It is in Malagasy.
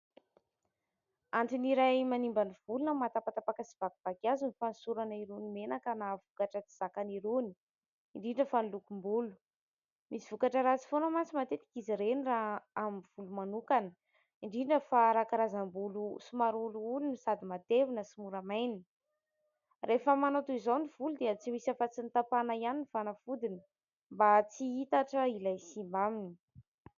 Antony iray manimba ny volo na mahatapatapaka sy vakivaky azy ny fanosorana irony menaka na vokatra tsy zakany irony, indirndra fa ny lokom-bolo. Misy vokatra ratsy foana manko izy ireny raha amin'ny volo manokana, indrindra fa raha karazam-bolo somary olioly no sady matevina sy mora maina. Rehefa .manao toy izao ny volo dia tsy misy afa-tsy ny tapahana ihany ny fanafodiny mba tsy hitatra ilay simba aminy.